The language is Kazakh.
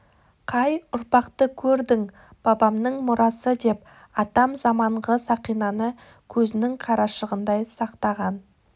қай ұрпақты көрдің бабамның мұрасы деп атам заманғы сақинаны көзінің қарашығындай сақтаған